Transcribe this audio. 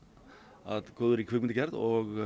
að góðri kvikmyndagerð og